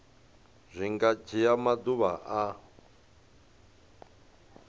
zwi nga dzhia maḓuvha a